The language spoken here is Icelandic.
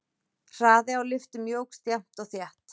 Hraði á lyftum jókst jafnt og þétt.